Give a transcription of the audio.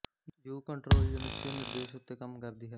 you control unit ਦੇ ਨਿਰਦੇਸ਼ੋਂ ਉੱਤੇ ਕੰਮ ਕਰਦੀ ਹੈ